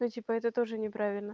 ну типа это тоже не правильно